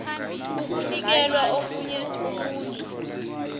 ukunikela omunye umuntu